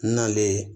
Nalen